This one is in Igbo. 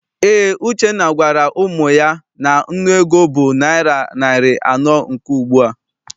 Eé, Uchenna gwara ụmụ ya na nnu ego bụ naịra narị anọ nke ugbua.